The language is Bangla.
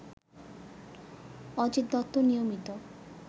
অজিত দত্ত নিয়মিত